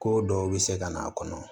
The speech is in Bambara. Ko dɔw bɛ se ka na kɔnɔ